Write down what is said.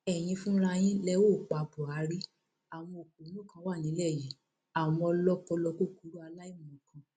ẹyin fúnra yín lẹ óò pa buhari àwọn òpònú kan wà nílẹ yìí àwọn ọlọpọlọ kúkúrú aláìmọkan